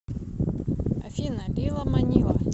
афина лила манила